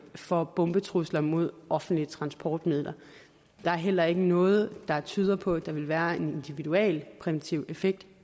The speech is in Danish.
for bombetrusler mod offentlige transportmidler der er heller ikke noget der tyder på at der vil være en individuel præventiv effekt